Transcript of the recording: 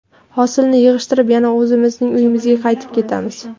Hosilni yig‘ishtirib, yana o‘zimizning uyimizga qaytib ketamiz.